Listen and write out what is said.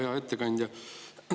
Hea ettekandja!